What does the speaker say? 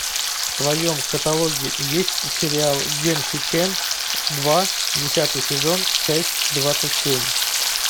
в твоем каталоге есть сериал гэнсикэн два десятый сезон часть двадцать семь